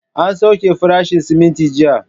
An sauke farashin siminti jiya